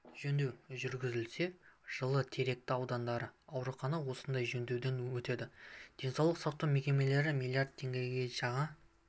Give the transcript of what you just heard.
жөндеу жүргізілсе жылы теректі ауданындағы аурухана осындай жөндеуден өтеді денсаулық сақтау мекемелеріне млрд теңгеге жаңа